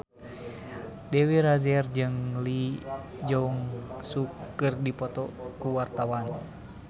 Dewi Rezer jeung Lee Jeong Suk keur dipoto ku wartawan